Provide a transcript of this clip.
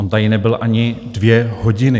On tady nebyl ani dvě hodiny.